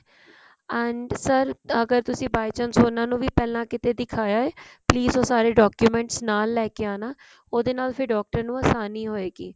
and sir ਅਗਰ by chance ਉਹਨਾ ਨੂੰ ਵੀ ਪਹਿਲਾਂ ਕਿਤੇ ਦਿਖਾਇਆ please ਉਹ ਸਾਰੇ document ਨਾਲ ਲੈਕੇ ਆਉਣਾ ਉਹਦੇ ਨਾਲ ਫ਼ੇਰ doctor ਨੂੰ ਆਸਾਨੀ ਹੋਇਗੀ